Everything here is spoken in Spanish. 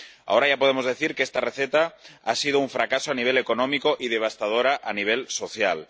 Ahora ya podemos decir que esta receta ha sido un fracaso a nivel económico y devastadora a nivel social.